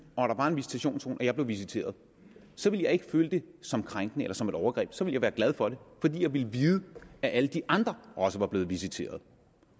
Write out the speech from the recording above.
og der var en visitationszone og jeg blev visiteret så ville jeg ikke føle det som krænkende eller som et overgreb så ville jeg være glad for det fordi jeg ville vide at alle de andre også var blevet visiteret